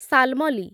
Shalmali